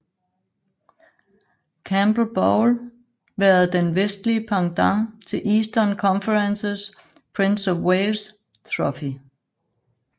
Campbell Bowl været den vestlige pendant til Eastern Conferences Prince of Wales Trophy